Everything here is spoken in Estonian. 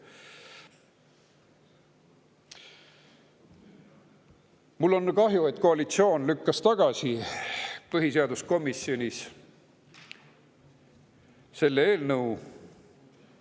Mul on kahju, et koalitsioon lükkas põhiseaduskomisjonis selle eelnõu tagasi.